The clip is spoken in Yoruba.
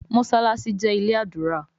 Mossalassi jé ilé ádùrá